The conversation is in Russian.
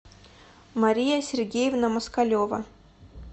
мария сергеевна москалева